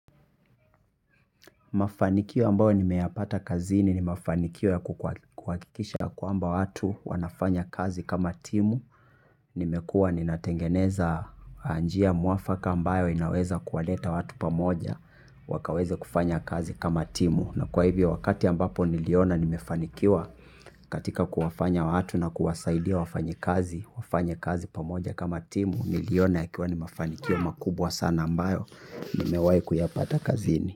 Mafanikio ambayo nimeyapata kazini ni mafanikio ya kuhakikisha kwamba watu wanafanya kazi kama timu, nimekua ninatengeneza njia mwafaka ambayo inaweza kuwaleta watu pamoja wakaweze kufanya kazi kama timu. Na kwa hivyo wakati ambapo niliona nimefanikiwa katika kuwafanya watu na kuwasaidia wafanye kazi, wafanye kazi pamoja kama timu, niliona ikiwa ni mafanikio makubwa sana ambayo nimewai kuyapata kazini.